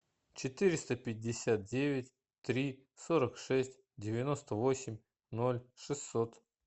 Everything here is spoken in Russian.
четыреста пятьдесят девять три сорок шесть девяносто восемь ноль шестьсот